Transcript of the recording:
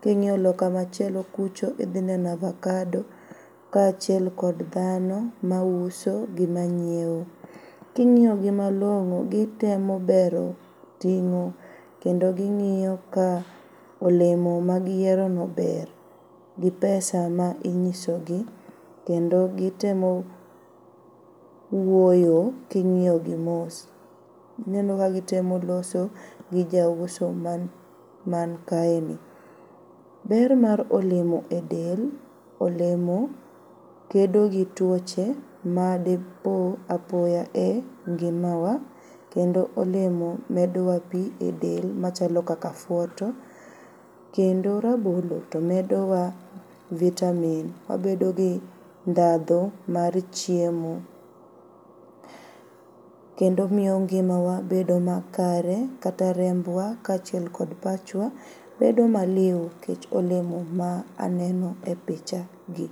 king'iyo loka machielo kucho idhineno avakado kachiel kod dhano mauso gi manyieo. King'iogi malong'o gitemo bero ting'o kendo ging'io ka olemo magiyierono ber gi pesa ma inyisogi kendo gitemo wuoyo king'iogi mos ineno ka gitemo loso gi jauso mankaeni. Ber mar olemo e del, olemo kedo gi tuoche ma depoo apoya e ngimawa kendo olemo medowa pii e del machalo kaka afuoto .Kendo rabolo tomedowa vitamin wabedogi ndhadho mar chiemo kendo omiyo ngimawa bedo makare kata rembwa kachiel kod pachwa bedo maliu kech olemo ma aneno e pichagi.